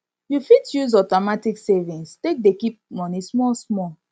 you fit use automatic savings take dey keep money small small